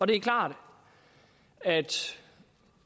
det er klart at